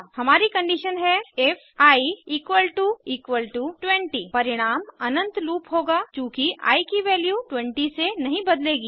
हमारी कंडीशन है if i 20 परिणाम अनंत लूप होगा चूँकि आई की वैल्यू 20 से नहीं बदलेगी